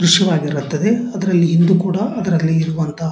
ದ್ರಶ್ಯವಾಗಿರುತ್ತದೆ ಅದರಲ್ಲಿ ಹಿಂದೂ ಕೂಡ ಅದರಲ್ಲಿ ಇರುವಂತಹ --